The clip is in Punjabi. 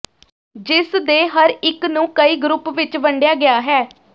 ਜਿਸ ਦੇ ਹਰ ਇਕ ਨੂੰ ਕਈ ਗਰੁੱਪ ਵਿੱਚ ਵੰਡਿਆ ਗਿਆ ਹੈ